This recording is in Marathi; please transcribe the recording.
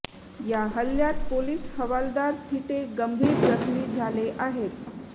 या हल्ल्यात पोलीस हवालदार थिटे गंभीर जखमी झाले आहेत